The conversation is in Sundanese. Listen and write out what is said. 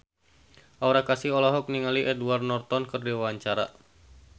Aura Kasih olohok ningali Edward Norton keur diwawancara